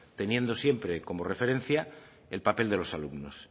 teniendo siempre como referencia el papel de los alumnos